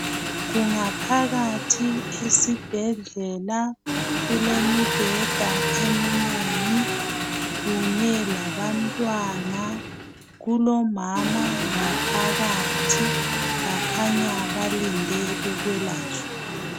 Kungaphakathi esibhedlela. Kulemibheda eminengi, kunye labantwana. Kulomama ngaphakathi. Bakhanya balinde ukwelatshwa.